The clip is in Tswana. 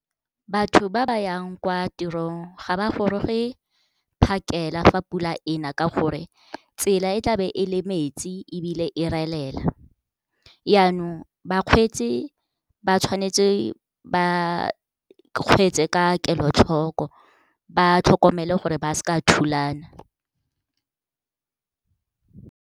Batho ba ba yang kwa tirong ga ba goroge phakela fa pula ena ka gore tsela e tlabe e le metsi ebile e relela. Yaanong bakgweetsi ba tshwanetse ba kgweetse ka kelotlhoko, ba tlhokomele gore ba seka ba thulana.